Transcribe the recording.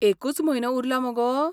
एकूच म्हयनो उरला मगो?